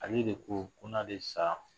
Ale de ko ko n'ale sa